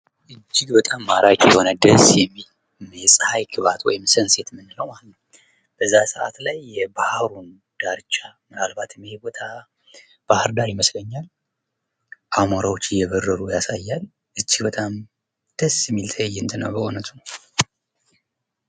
እጅግ በጣም ማራኪ የሆነ ደስ የሚል የፀሀይ ግባት የምንለው ማለት ነው በዛ ሰዓት ላይ ማለት ነው የባህሩ ዳርቻ ባህር ዳር ይመስለኛል አሞራው እየበረሩ ያሳያል እጅግ በጣም ደስ የሚል ትዕይንት ነው በእውነቱ።